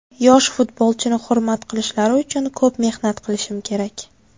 Yosh futbolchini hurmat qilishlari uchun ko‘p mehnat qilishim kerak.